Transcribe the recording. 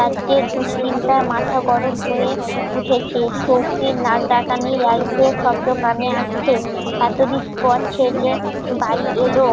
রাজ্যের দুশ্চিন্তায় মাথা গরম হয়ে উঠেছে সউখির, নাক ডাকানি, শব্দ কানে আসছে এতদিন পথ ছেলে বাড়ি এলো,